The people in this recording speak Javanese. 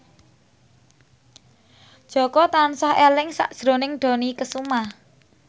Jaka tansah eling sakjroning Dony Kesuma